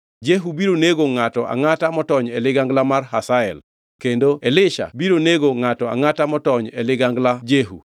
Jehu biro nego ngʼato angʼata motony e ligangla mar Hazael kendo Elisha biro nego ngʼato angʼata motony e ligangla Jehu.